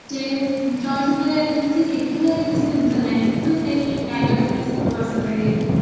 ହଁ ସେ ଚଳଚିତ୍ରରେ ଏତେ କିଛି ଶିଖିବାର କିଛି ଜିନିଷ ନହିଁ କିନ୍ତୁ ସେଇ ବହୁତ ପ୍ରସିଦ୍ଧ ହେଇଯାଇଥିଲା